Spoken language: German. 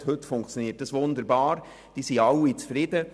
Heute funktioniert es wunderbar, und alle sind zufrieden.